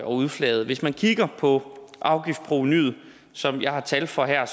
udflaget hvis man kigger på afgiftsprovenuet som jeg har tal for her